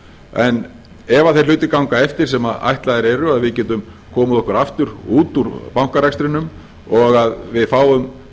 en ef þeir hlutir ganga eftir sem ætlaðir eru að við getum komið okkur aftur út úr bankarekstrinum og að við fáum